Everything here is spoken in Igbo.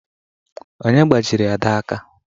Onye gbajiri Ada aka?